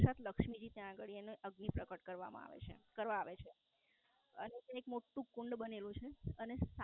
સાક્ષાત લક્ષ્મી જી ત્યાં આગળ એની અગ્નિ પ્રગટ કરવામાં આવે છે કરવા આવે છે એક મોટું કુંડ બનેલું છે અને